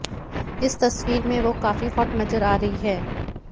इस तस्वीर में वो काफी हॉट नजर आ रही हैं